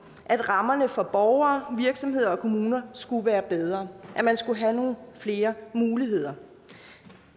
at rammerne for borgere virksomheder og kommuner skulle være bedre man skulle have nogle flere muligheder